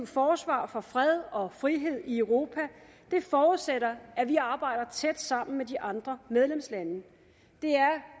forsvar for fred og frihed i europa forudsætter at vi arbejder tæt sammen med de andre medlemslande det er